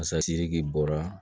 bɔra